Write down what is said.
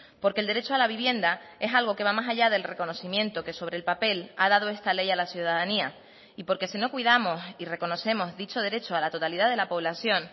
porque el derecho a la vivienda es algo que va más allá del reconocimiento que sobre el papel ha dado esta ley a la ciudadanía y porque si no cuidamos y reconocemos dicho derecho a la totalidad de la población